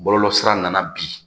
Bɔlɔlɔsira nana bi